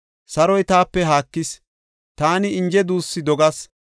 Saroy taape haakis; taani inje duussu dogas.